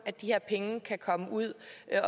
er